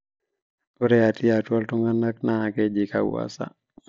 ore atii atua ntunganak naakeji kawasa